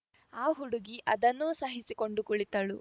ಆ ಹುಡುಗಿ ಅದನ್ನೂ ಸಹಿಸಿಕೊಂಡು ಕುಳಿತಳು